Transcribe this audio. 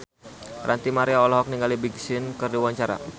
Ranty Maria olohok ningali Big Sean keur diwawancara